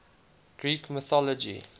greek mythology